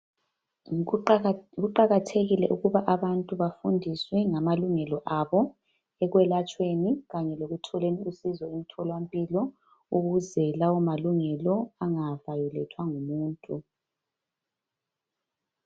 Kuqakathekile ukuba abantu bafundiswe ngamalungelo abo ekwelatshweni kanye lekutholeni usizo emtholampilo ukuze lawo malungelo angavayolethwa ngumuntu